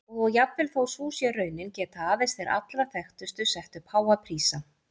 Og jafnvel þó sú sé raunin geta aðeins þeir allra þekktustu sett upp háa prísa.